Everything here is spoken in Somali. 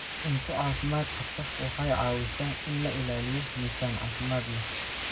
Cunto caafimaad qabta waxay caawisaa in la ilaaliyo miisaan caafimaad leh.